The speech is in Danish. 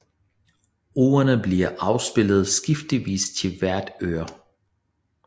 Ordene bliv afspillet skiftevis til hvert øre